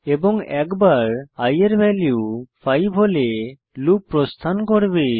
এবং একবার i এর ভ্যালু 5 হলে লুপ প্রস্থান করবে